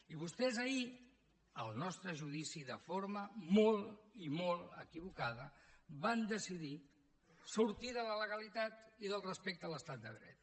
i vostès ahir al nostre judici de forma molt i molt equivocada van decidir sortir de la legalitat i del respecte a l’estat de dret